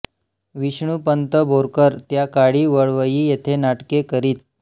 विष्णूपंत बोरकर त्या काळी वळवई येथे नाटके करीत